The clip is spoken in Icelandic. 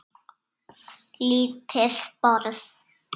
Lítið borð